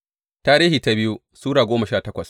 biyu Tarihi Sura goma sha takwas